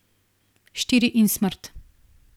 Štiri in smrt.